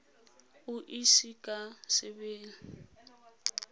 o e ise ka sebelel